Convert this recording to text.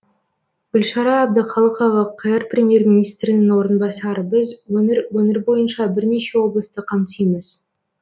гүлшара әбдіқалықова қр премьер министрінің орынбасары біз өңір өңір бойынша бірнеше облысты қамтимыз